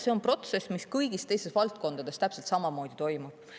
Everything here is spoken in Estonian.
See on protsess, mis kõigis teistes valdkondades täpselt samamoodi toimub.